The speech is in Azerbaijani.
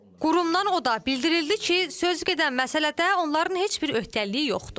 Qurumdan o da bildirildi ki, sözügedən məsələdə onların heç bir öhdəliyi yoxdur.